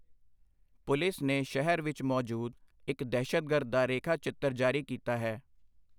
Police ਨੇ ਸ਼ਹਿਰ ਵਿੱਚ ਮੌਜੂਦ ਇੱਕ ਦਹਿਸ਼ਤਗਰਦ ਦਾ ਰੇਖਾ ਚਿੱਤਰ ਜਾਰੀ ਕੀਤਾ ਹੈ।